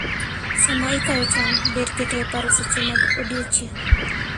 Sama ikayo cham, ber keto e paro seche mag odiechieng'.